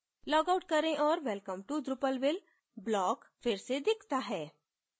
logout करें औऱ welcome to drupalville block फिर से दिखता है